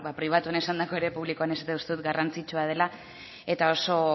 pribatuan esandakoa ere publikoan ere esatea uste dut garrantzitsua dela eta oso